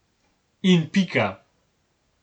In pika.